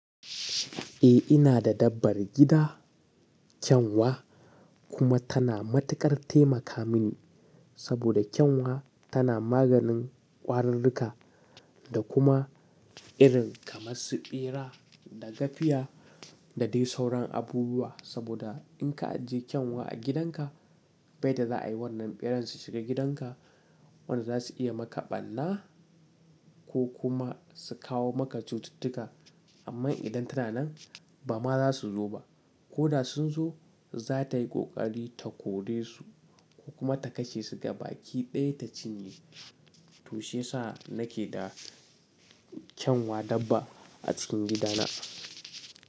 Eh ina da dabbar gida, kyanwa kuma tana matuƙar taimaka mini saboda kyanwa tana maganin ƙwararruka da kuma irin kamar su ɓera da gafiya da dai sauran abubuwa. Saboda in ka ajiye kyanwa a gidanka bai yadda za'a yi wannan ɓeran su shiga gidanka. Wannan za su iya maka ɓarna ko kuma su kawo maka cututtuka. Amma idan tana nan ba ma za su zo ba. Ko da sun zo, za ta yi ƙoƙari ta kore su ko kuma ta kashe su gaba ki ɗaya ta cinye. To shiyasa nake da kyanwa dabba a cikin gidana.